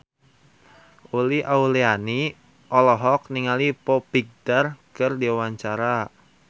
Uli Auliani olohok ningali Foo Fighter keur diwawancara